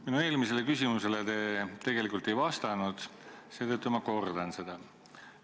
Minu eelmisele küsimusele te tegelikult ei vastanud, seetõttu ma kordan seda.